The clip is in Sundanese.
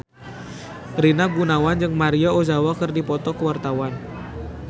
Rina Gunawan jeung Maria Ozawa keur dipoto ku wartawan